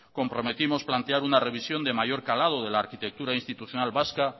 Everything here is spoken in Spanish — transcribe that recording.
comprometimos plantear una revisión de mayor calado de la arquitectura institucional vasca